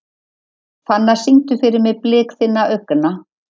Fannar, syngdu fyrir mig „Blik þinna augna“.